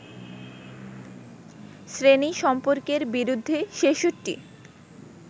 শ্রেণী-সম্পর্কের বিরুদ্ধে ৬৬